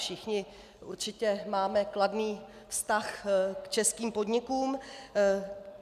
Všichni určitě máme kladný vztah k českým podnikům.